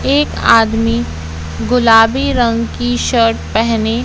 एक आदमी गुलाबी रंग की शर्ट पहने--